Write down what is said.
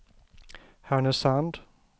Härnösand